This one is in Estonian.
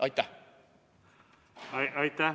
Aitäh!